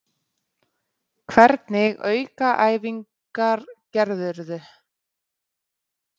Hvernig aukaæfingar gerðirðu?